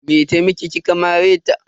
Me ta miki kika mare ta?